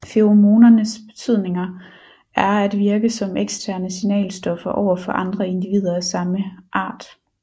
Feromonernes betydning er at virke som eksterne signalstoffer over for andre individer af samme art